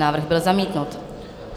Návrh byl zamítnut.